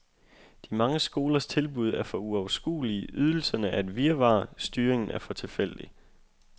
De mange skolers tilbud er for uoverskuelige, ydelserne er et virvar, styringen er for tilfældig.